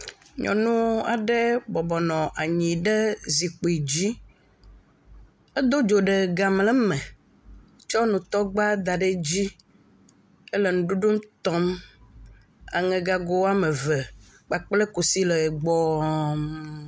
Nyɔnu aɖe bɔbɔ nɔ zikpi dzi. Edo dzo ɖe gamlɛ me. Tsɔ nutɔgba da ɖe edzi. Ele nuɖuɖu tɔm. aŋegago ame ve kpakple kusi le gbɔɔ.